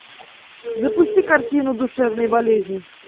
запусти картину душевные болезни